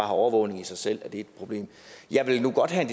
overvågning i sig selv er et problem jeg vil nu godt have